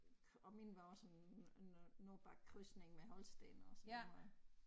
Og min var også en en øh nordbaggekrydsning med holstener og sådan noget